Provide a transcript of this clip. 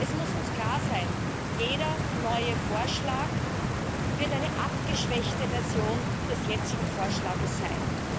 Denn es muss uns klar sein Jeder neue Vorschlag wird eine abgeschwächte Version des jetzigen Vorschlags sein.